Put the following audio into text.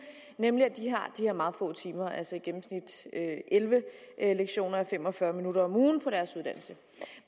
nemlig at de har de her meget få timer altså i gennemsnit elleve lektioner a fem og fyrre minutter om ugen på deres uddannelse